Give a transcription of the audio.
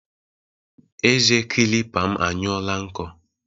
Eze kilipa m anyụọọla nkọ.